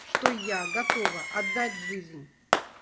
что я готова отдать жизнь